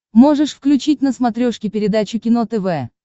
можешь включить на смотрешке передачу кино тв